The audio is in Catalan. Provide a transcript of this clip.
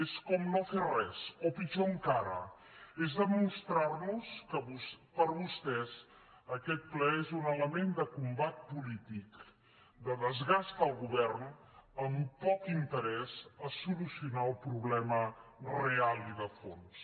és com no fer res o pitjor encara és demostrar nos que per vostès aquest ple és un element de combat polític de desgast del govern amb poc interès a solucionar el problema real i de fons